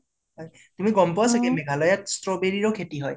তুমি গʼম পোৱা চাগে মেঘালায়া ত strawberry ৰো খেতি হয়